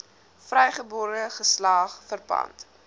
vrygebore geslag verpand